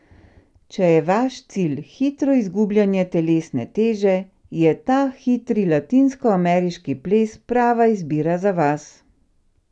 Če je vaš cilj hitro izgubljanje telesne teže, je ta hitri latinskoameriški ples prava izbira za vas!